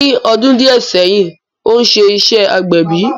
Ní ọdún díè sẹ́yìn, ó ń ṣe iṣẹ́ agbẹ̀bí